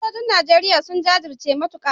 Sojojin Najeriya sun jajirce matuka